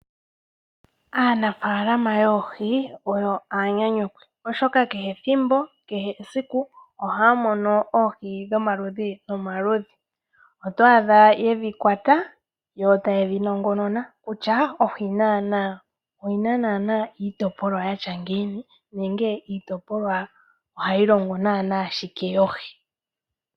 Aanafaalama yoohi oyo aanyanyukwi oshoka kehe ethimbo, kehe esiku ohaya mono oohi dhomaludhi nomaludhi. Oto adha yedhi kwata yo tayedhi nongonona kutya ohii oyina naana iitopolwa yatya ngiini nenge iitopolwa ohayi longo naana shike yoohi.